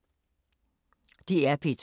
DR P2